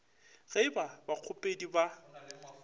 ge e ba bakgopedi ba